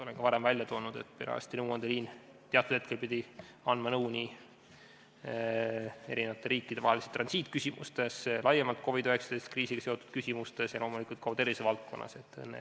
Olen ka varem öelnud, et perearsti nõuandeliin pidi teatud hetkedel andma nõu nii eri riikide vaheliste transiitküsimuste, laiemalt COVID-19 kriisiga seotud küsimuste kohta kui ka loomulikult tervisevaldkonna kohta.